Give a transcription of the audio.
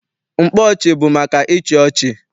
Mkpa ọchị bụ maka ịchị ọchị.